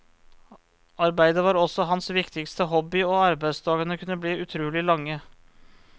Arbeidet var også hans viktigste hobby, og arbeidsdagene kunne bli utrolig lange.